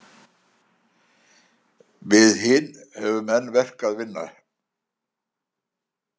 Við hin höfðum enn verk að vinna.